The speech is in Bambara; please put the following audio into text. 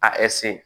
A